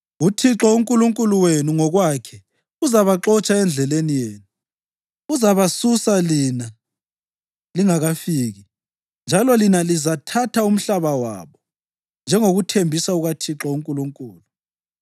UThixo uNkulunkulu wenu ngokwakhe uzabaxotsha endleleni yenu. Uzabasusa lina lingakafiki, njalo lina lizathatha umhlaba wabo, njengokuthembisa kukaThixo uNkulunkulu.